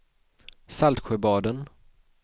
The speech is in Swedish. Saltsjöbaden